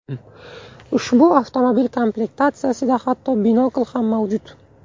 Ushbu avtomobil komplektatsiyasida hatto binokl ham mavjud.